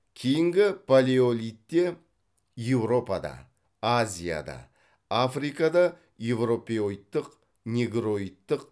кейінгі палеолитте еуропада азияда африкада еуропеоидтық негроидтық